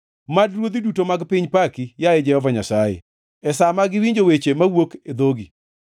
Mad ruodhi duto mag piny paki, yaye Jehova Nyasaye, e sa ma giwinjo weche mowuok e dhogi.